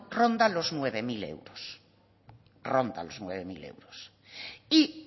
ronda los nueve mil euros ronda los nueve mil euros y